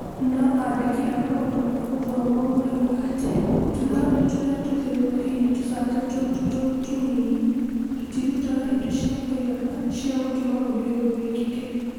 no andĩki a maũndũ ma gũthomwo moigaga atĩ, tũthani tũrĩa tũthiũrirukĩirie tũcata tũtũ tũnini tũtirũtaga indo cĩa kuigana, cĩa gũtũma ũndũ ũyũ wĩkike